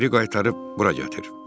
Geri qaytarıb bura gətir.